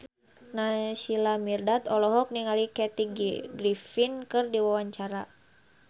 Naysila Mirdad olohok ningali Kathy Griffin keur diwawancara